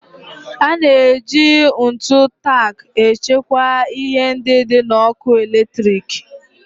A na-eji ntu tack echekwa ihe ndị dị n'ọkụ eletrik.